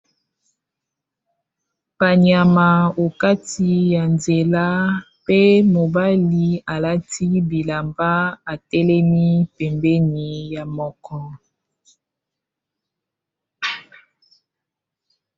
panyama okati ya nzela pe mobali alati bilamba atelemi pembeni ya moko